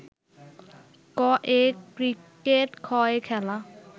ক-য়ে cricket খ-য়ে খেলা